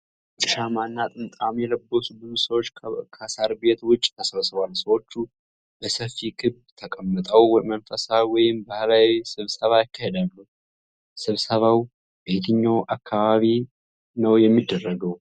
ነጭ ሻማ እና ጥምጣም የለበሱ ብዙ ሰዎች ከሳር ቤት ውጭ ተሰብስበዋል። ሰዎች በሰፊ ክብ ተቀምጠው መንፈሳዊ ወይም ባህላዊ ስብሰባ ያካሂዳሉ። ስብሰባው በየትኛው አካባቢ ነው የሚደረገው?